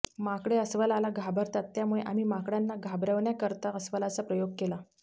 माकडे अस्वलाला घाबरतात त्यामुळे आम्ही माकडांना घाबरवण्याकरता अस्वलाचा प्रयोग केला